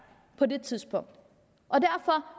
på det tidspunkt